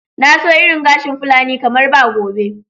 Na so irin gashin fulani kamar ba gobe.